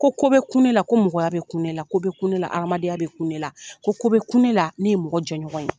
Ko ko be kun ne la ko mɔgɔya bɛ kun ne la ko be kun nela adamadenya bɛ kun ne la ko be kun ne la ne ye mɔgɔ jƐɲɔgɔn ye.